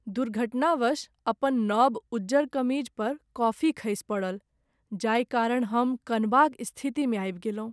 दुर्घटनावश अपन नव उज्जर कमीज पर कॉफी खसि पड़ल जाहि कारण हम कनबाक स्थितिमे आबि गेलहुँ ।